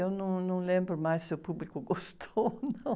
Eu não, não lembro mais se o público gostou ou não.